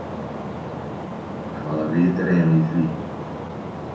Hvaða vit er eiginlega í því?